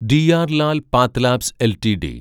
DR Lal path labs LTD